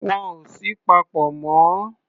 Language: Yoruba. Wọn ò sí papọ̀ mọ́.